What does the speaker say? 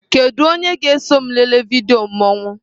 Kedu onye ga-eso m lelee vidiyo mmanwụ?